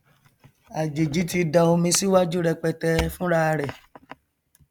àjèjì ti da omi síwájú rẹpẹtẹ fúnrarẹ